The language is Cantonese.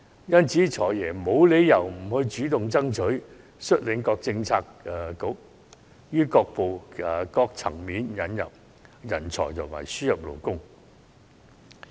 因此，"財爺"沒理由不主動爭取，率領各政策局於各層面引入人才和輸入勞工。